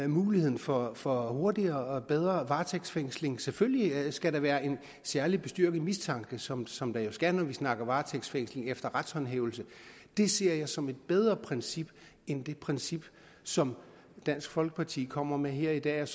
muligheden for for hurtigere og bedre varetægtsfængsling selvfølgelig skal der være en særlig bestyrket mistanke som som der jo skal når vi snakker varetægtsfængsling efter retshåndhævelse det ser jeg som et bedre princip end det princip som dansk folkeparti kommer med her i dag